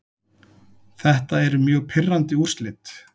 Þetta eru mjög pirrandi úrslit.